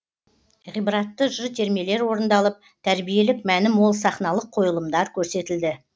ғибратты жыр термелер орындалып тәрбиелік мәні мол сахналық қойылымдар көрсетілді